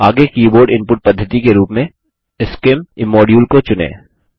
आगे keyboard input पद्धति के रूप में scim इमोड्यूल को चुनें